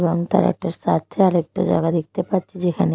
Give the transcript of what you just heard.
এবং তার একটা সাথে আরেকটা জায়গা দেখতে পাচ্ছি যেখানে--